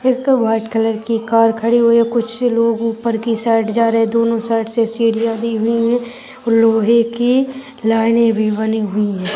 एक white colour की car खड़ी हुई हैं कुछ लोग ऊपर की साइड जा रहे हैं दोनों साइड से सीढ़िया दी हुई हैं लोहे की लाइनें भी बनी हुई हैं।